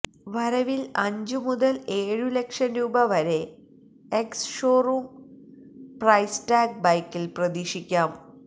വരവില് അഞ്ചു മുതല് ഏഴു ലക്ഷം രൂപ വരെ എക്സ്ഷോറൂം പ്രൈസ്ടാഗ് ബൈക്കില് പ്രതീക്ഷിക്കാം